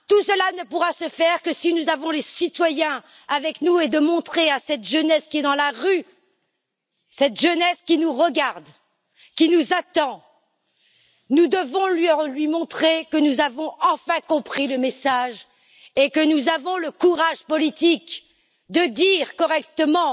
Tout cela ne pourra se faire que si nous avons les citoyens avec nous. Nous devons montrer à cette jeunesse, qui est dans la rue, cette jeunesse qui nous regarde, qui nous attend, que nous avons enfin compris le message et que nous avons le courage politique de dire correctement